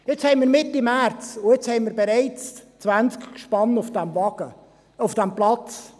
Es ist jetzt Mitte März, und wir haben bereits 20 Gespanne auf diesem Platz!